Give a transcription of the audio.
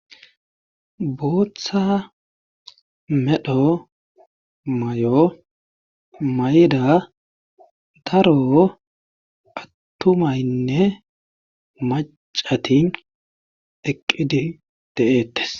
Booththa medho mayo mayida daro atumaynne maccati eqqidi de'eetees.